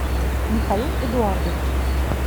михаил эдуардович